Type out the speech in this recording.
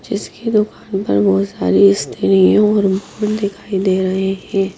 इसकी दुकान पर बहुत सारी स्थिरियों और दिखाई दे रहे हैं।